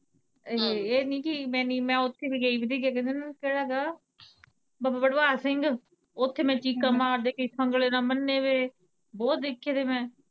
ਇਹੀ ਇਹ ਨਹੀਂ ਨੀ ਮੈਂ ਓੱਥੇ ਵੀ ਗਈ ਕਿੱਥੇ ਗਏ ਹੀ ਕਿਹੇ ਦਿਨ, ਕਿਹੜਾ ਹੈਗਾ ਬਾਬਾ ਬਡਵਾਂਗ ਸਿੰਘ, ਓੱਥੇ ਮੈਂ ਚੀਕਾਂ ਮਾਰਦੇ, ਕਈ ਸੰਗਲੇ ਨਾ ਬੰਨੇ ਵੇ ਬਹੁਤ ਦੇਖੇ ਦੇ ਮੈਂ।